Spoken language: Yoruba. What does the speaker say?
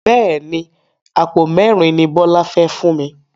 Bẹ́ẹ̀ni, Àpò mẹ́ẹ́rin ni Bọlá fẹ fún mi.